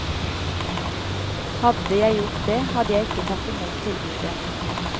Hadde jeg gjort det, hadde jeg ikke tatt i mot tilbudet.